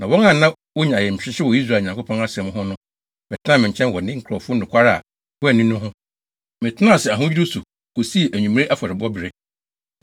Na wɔn a na wonya ayamhyehye wɔ Israel Nyankopɔn asɛm ho no bɛtenaa me nkyɛn wɔ ne nkurɔfo nokware a wɔanni no ho. Metenaa ase ahodwiriw so kosii anwummere afɔrebɔbere.